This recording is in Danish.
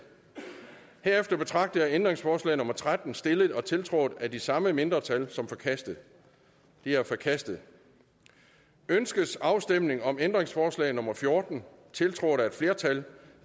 herefter betragter jeg ændringsforslag nummer tretten stillet og tiltrådt af de samme mindretal som forkastet det er forkastet ønskes afstemning om ændringsforslag nummer fjorten tiltrådt af et flertal